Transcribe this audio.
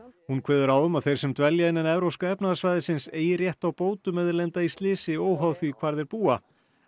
hún kveður á um að þeir sem dvelja innan evrópska efnahagssvæðisins eigi rétt á bótum ef þeir lenda í slysi óháð því hvar þeir búa